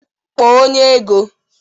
Kpọọ onye ego